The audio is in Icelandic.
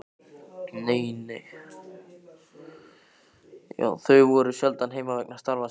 Þau voru sjaldan heima vegna starfa sinna.